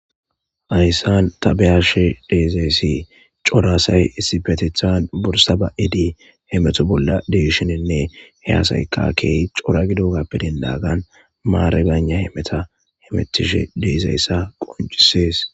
Ayyssan tabeyashe deezayssi coraasay isifetethan borsa ba7edi hemeto bolla deishinenne heyasayka key cora gido gappedenlaagan maare bana hemeta hemetishe deezayessa qoncisees.